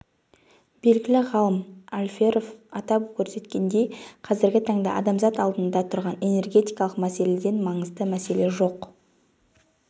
белгілі ғалым алферов атап көрсеткендей қазіргі таңда адамзат алдында тұрған энергетикалық мәселеден маңызды мәселе жоқ